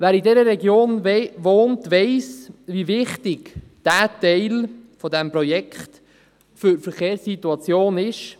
Wer in dieser Region wohnt, weiss wie wichtig dieser Teil des Projekts für die Verkehrssituation ist.